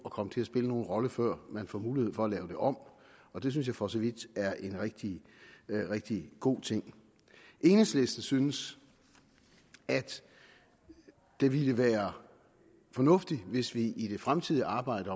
komme til at spille nogen rolle før man får mulighed for at lave det om og det synes jeg for så vidt er en rigtig rigtig god ting enhedslisten synes at det ville være fornuftigt hvis vi i det fremtidige arbejde